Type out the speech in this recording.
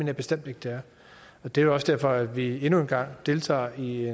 jeg bestemt ikke det er det er også derfor at vi nu engang deltager i et